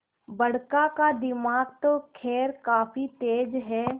बड़का का दिमाग तो खैर काफी तेज है